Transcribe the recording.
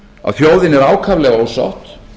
að þjóðin er ákaflega ósátt